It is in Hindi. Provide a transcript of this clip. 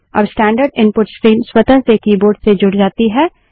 अब स्टैन्डर्ड इनपुट स्ट्रीम स्वतः से कीबोर्ड से जुड़ जाती है